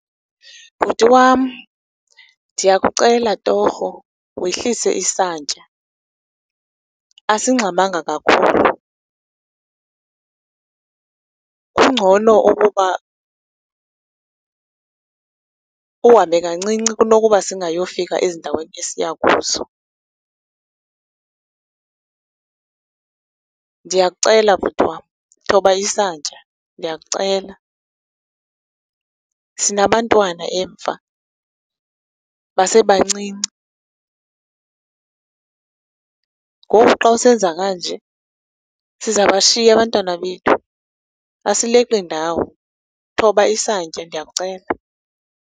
Bhuti wam, ndiyakucela torho wehlise isantya, asingxamanga kakhulu. Kungcono okuba uhambe kancinci kunokuba singayofika ezindaweni esiya kuzo. Ndiyakucela bhuti wam, thoba isantya, ndiyakucela. Sinabantwana emva, basebancinci. Ngoku xa usenza kanje sizabashiya abantwana bethu, asileqi ndawo. Thoba isantya, ndiyakucela.